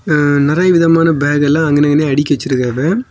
அ நெறைய விதமான பேக் எல்லா அங்க நின்னு அடுக்கிவச்சிருக்காங்வ.